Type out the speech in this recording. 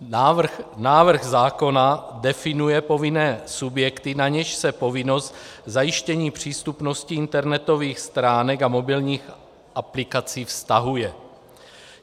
Návrh zákona definuje povinné subjekty, na něž se povinnost zajištění přístupnosti internetových stránek a mobilních aplikací vztahuje.